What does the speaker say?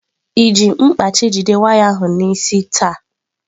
Ị ji mkpachị jide waya ahụ n'isi taa?